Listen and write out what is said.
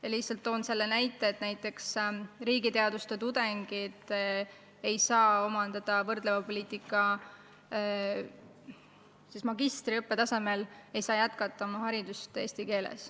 Näiteks riigiteaduste magistriõppe tudengid ei saa võrdleva poliitika õppekaval eesti keeles haridusteed jätkata.